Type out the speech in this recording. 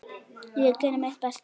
Ég geri mitt besta.